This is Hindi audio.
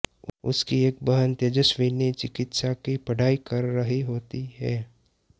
उसकी एक बहन तेजस्विनी चिकित्सा की पढ़ाई कर रही होती है